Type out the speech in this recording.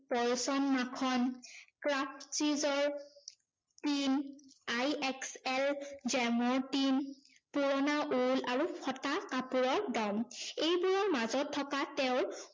পছন মাখন, craft cheese ৰ, tin I XL jam ৰ tin, পুৰণা উল আৰু ফটা কাপোৰৰ দম। এইবোৰৰ মাজত থকা তেওঁৰ